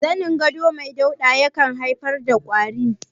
Zanin gado mai dauɗa ya kan iya haifar da ƙuraje.